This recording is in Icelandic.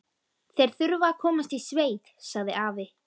Þeir þurfa að komast í sveit, sagði afi.